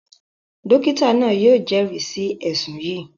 Dókítà náà yóò jẹ́rìí sí ẹ̀ṣùn yìí